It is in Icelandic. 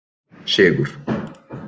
Sigur